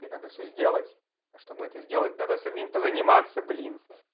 так это надо всё сделать а чтобы это сделать надо самим позаниматься блин